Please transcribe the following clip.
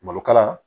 Malo kala